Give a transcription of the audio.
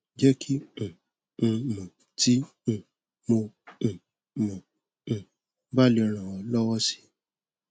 jẹ kí um n mọ tí um mo um mo um bá lè ràn ọ lọwọ si